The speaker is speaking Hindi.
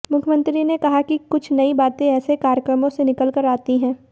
मुख्यमंत्री ने कहा कि कुछ नई बातें ऐसा कार्यक्रमों से निकलकर आती हैं